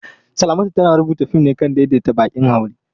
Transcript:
Salamatu tana rubuta fim ne kan daidaita baƙin haure.